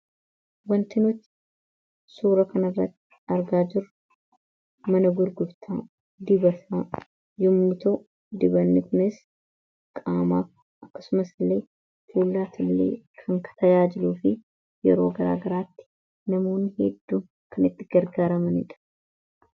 wanti nuti suura kanarra argaa jirru mana gurgurtaa dibataa yommu ta'u dibanni kunis qaamaaf akkasumas illee fuulaaf illee kan tajaajiluu fi yeroo garaagaraatti namooni hedduu kan itti gargaaramaniidha.